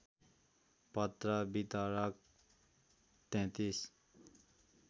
पत्र वितरक ३३